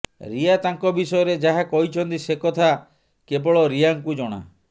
ରିୟା ତାଙ୍କ ବିଷୟରେ ଯାହା କହିଛନ୍ତି ସେ କଥା କେବଳ ରିୟାଙ୍କୁ ଜଣା